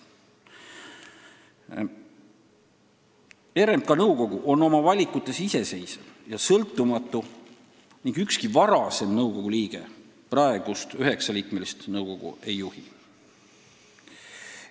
RMK nõukogu on oma valikutes iseseisev ja sõltumatu ning ükski varasem nõukogu liige praegust 9-liikmelist nõukogu ei juhi.